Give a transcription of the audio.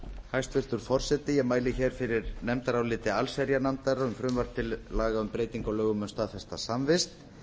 hæstvirtur forseti ég mæli hér fyrir nefndaráliti allsherjarnefndar um frumvarp til laga um breytingu á lögum um staðfesta samvist